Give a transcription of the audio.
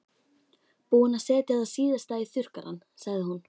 Búin að setja það síðasta í þurrkarann sagði hún.